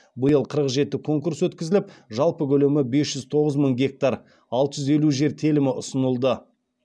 биыл қырық жеті конкурс өткізіліп жалпы көлемі бес жүз тоғыз мың гектар алты жүз елу жер телімі ұсынылды